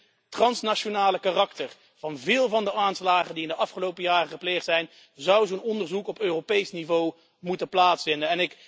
Gezien het transnationale karakter van veel van de aanslagen die in de afgelopen jaren gepleegd zijn, zou zo'n onderzoek op Europees niveau moeten plaatsvinden.